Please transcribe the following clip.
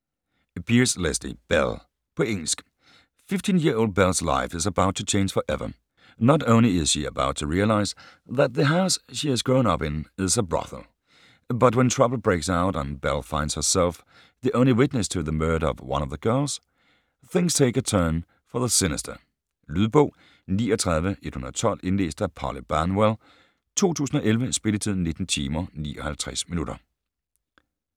Pearse, Lesley: Belle På engelsk.15-year-old Belle's life is about to change forever. Not only is she about to realise that the house she's grown up in is a brothel, but when trouble breaks out and Belle finds herself the only witness to the murder of one of the girls, things take a turn for the sinister. Lydbog 39112 Indlæst af Polly Banwell, 2011. Spilletid: 19 timer, 59 minutter.